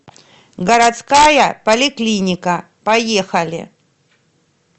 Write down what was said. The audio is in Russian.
городская поликлиника поехали